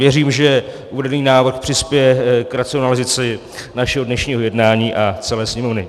Věřím, že uvedený návrh přispěje k racionalizaci našeho dnešního jednání a celé Sněmovny.